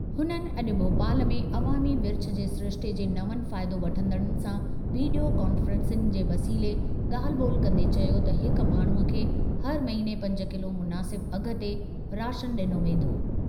हुननि अॼु भोपाल में अवामी विर्छ जे सिरिश्ते जे नवनि फ़ाइदो वठंदड़नि सां वीडियो कान्फ़ेंसिंग जे वसीले ॻाल्हि ॿोल्हि कंदे चयो त हिक माण्हूअ खे हर महिने पंज किलो मुनासिब अघ ते राशन ॾिनो वेंदो।